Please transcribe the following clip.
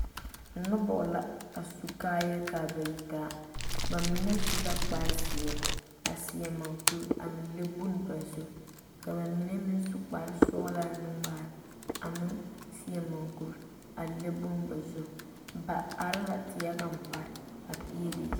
Noba la su kaaya ka ba yitaa ba mine su la kpare zeɛ a seɛ mukuro a le boŋ ba zu ka ba mine meŋ su kpare sɔglɔ naŋ waa a meŋ seɛ mukuro a le boŋ ba zu ba are la teɛ kaŋ pare.